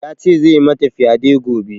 Ya ce zai mata fyaɗe gobe